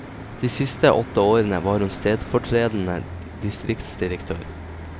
De siste åtte årene var hun stedfortredende distriktsdirektør.